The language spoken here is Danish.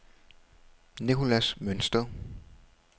Nicholas Mønsted